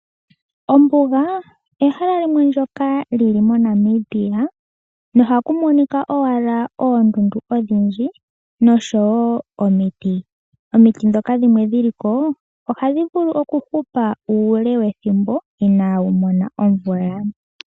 Ombuga ehala limwe ndyoka lili moNamibia nohaku monika owala oondundu odhindji noshowoo omiti. Omiti ndhoka dhimwe dhiliko ohadhi vulu okuhupa uule wethimbo inaadhi mona omvula.